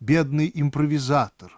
бедный импровизатор